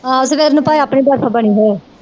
ਆਹੋ ਸਵੇਰ ਨੂੰ ਭਾਵੇ ਆਪਣੀ ਬਰਫ ਬਣੀ ਹੋਵੇ।